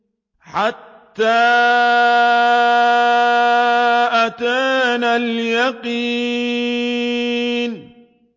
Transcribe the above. حَتَّىٰ أَتَانَا الْيَقِينُ